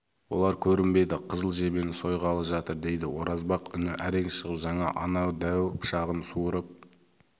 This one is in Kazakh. олар көрінбеді қызыл жебені сойғалы жатыр дейді оразбақ үні әрең шығып жаңа ана дәу пышағын суырып